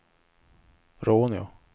Råneå